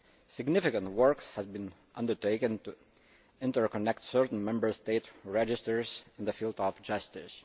Significant work has been undertaken to interconnect certain Member State registers in the field of justice.